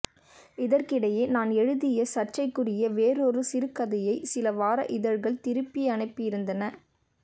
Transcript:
இதற்கிடையே நான் எழுதிய சர்ச்சைக்குரிய வேறொரு சிறுகதையைச் சில வார இதழ்கள் திருப்பியனுப்பியிருந்தன